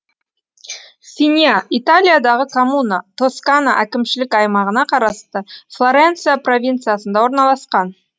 синья италиядағы коммуна тоскана әкімшілік аймағына қарасты флоренция провинциясында орналасқан